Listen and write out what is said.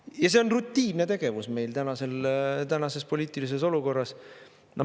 Ja see on rutiinne tegevus meil tänases poliitilises olukorras.